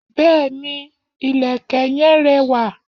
Béèni, ìlẹ̀kẹ̀ yen rẹwà.